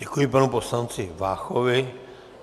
Děkuji panu poslanci Váchovi.